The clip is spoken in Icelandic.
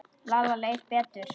Lalla leið betur.